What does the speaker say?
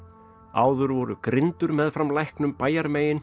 áður voru grindur meðfram læknum